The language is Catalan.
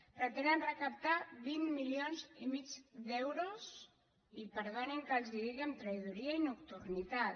pretenen recaptar vint milions i mig d’euros i perdonin que els ho digui amb traïdoria i nocturnitat